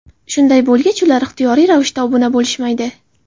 Shunday bo‘lgach ular ixtiyoriy ravishda obuna bo‘lishmaydi.